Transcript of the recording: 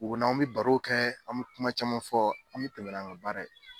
O n'an bi baro kɛ, an mi kuma caman fɔ, an mi tɛmɛ n'an ka baara ye.